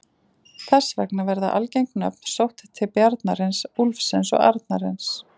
Þess vegna verða algeng nöfn sótt til bjarnarins, úlfsins og arnarins.